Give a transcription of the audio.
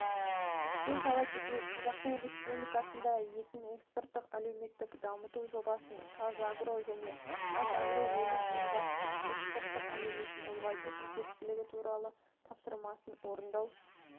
еске сала кетейік қазақстан республикасында етін экспортық әлеуетін дамыту жобасын қазагро және қазагроөнім елбасының экспорттық әлеуетін ұлғайту қажеттігі туралы тапсырмасын орындау